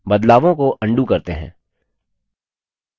बदलावों को अन्डू करते हैं